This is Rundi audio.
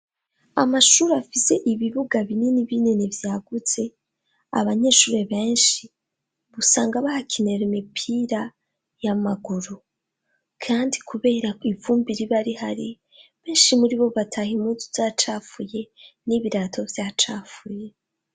Amashur’ afise ibibuga binini binini vyagutse ,abanyeshuri benshi usanga bahakinira imipira y'amaguru kandi kubera ivumbi riba rihari benshi muri bo bataha impunzu zacafuye n'ibirato vyacafuye.